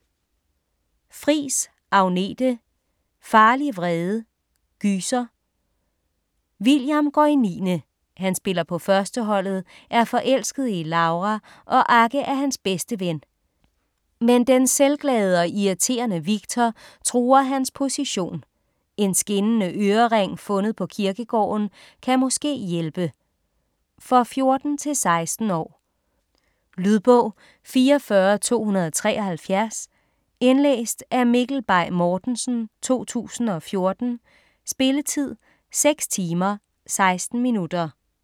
Friis, Agnete: Farlig vrede: gyser William går i niende. Han spiller på førsteholdet, er forelsket i Laura og Agge er hans bedste ven, men den selvglade og irriterende Victor truer hans position. En skinnende ørering fundet på kirkegården kan måske hjælpe. For 14-16 år. Lydbog 44273 Indlæst af Mikkel Bay Mortensen, 2014. Spilletid: 6 timer, 16 minutter.